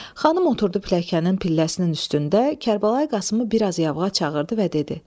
Xanım oturdu pilləkanın pilləsinin üstündə, Kərbəlayı Qasımı bir az yavğa çağırdı və dedi: